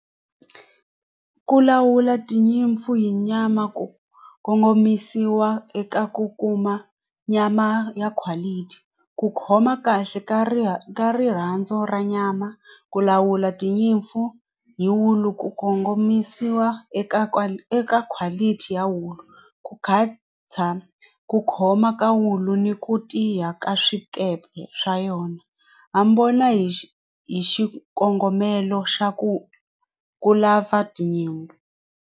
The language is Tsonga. Ku lawula tinyimpfu hi nyama ku kongomisiwa eka ku kuma nyama ya quality ku khoma kahle ka ri ka rirhandzu ra nyama ku lawula tinyimpfu hi wulu ku kongomisiwa eka eka quality ya wulu ku ku khoma ka wulu ni ku tiya ka swikepe swa yona hi xi hi xikongomelo xa ku ku lava tinyimpfu.